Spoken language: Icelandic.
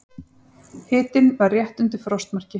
Hitinn var rétt undir frostmarki.